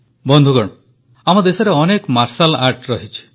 ବନ୍ଧୁଗଣ ଆମ ଦେଶରେ ଅନେକ ମାର୍ଟିଆଲ୍ ଆର୍ଟସ୍ ରହିଛି